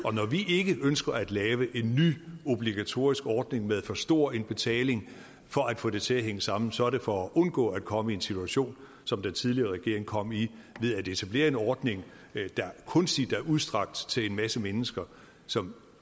og når vi ikke ønsker at lave en ny obligatorisk ordning med for stor en betaling for at få det til at hænge sammen så er det for at undgå at komme i en situation som den tidligere regering kom i ved at etablere en ordning der kunstigt er udstrakt til en masse mennesker som